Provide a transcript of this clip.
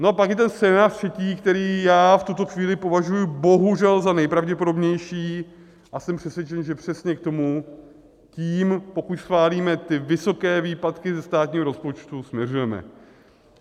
No a pak je ten scénář třetí, který já v tuto chvíli považuji bohužel za nejpravděpodobnější, a jsem přesvědčen, že přesně k tomu tím, pokud schválíme ty vysoké výpadky ze státního rozpočtu, směřujeme.